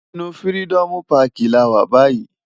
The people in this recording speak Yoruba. Inú Firidòmú Pàkí làwá bàyí